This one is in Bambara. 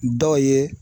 Dɔw ye